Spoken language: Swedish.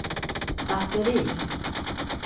batteri